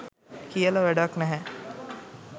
කියල වැඩක් නැහැ.